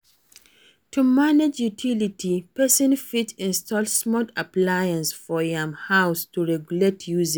To manage utiility, person fit install smart appliances for im house to regulate usage